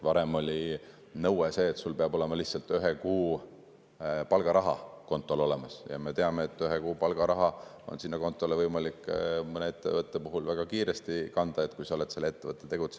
Varem oli nõue see, et peab olema lihtsalt ühe kuu palgaraha kontol olemas, ja me teame, et ühe kuu palgaraha on kontole võimalik kanda mõne ettevõtte puhul väga kiiresti, kui sa oled selle ettevõte teinud.